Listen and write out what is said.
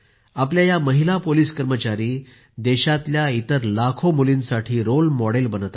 आपल्या या महिला पोलिस कर्मचारी देशातल्या इतर लाखो मुलींसाठी रोल मॉडेल बनत आहेत